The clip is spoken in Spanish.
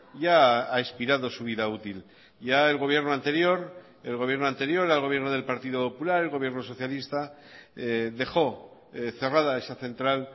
ya ha expirado su vida útil ya el gobierno anterior el gobierno anterior al gobierno del partido popular el gobierno socialista dejó cerrada esa central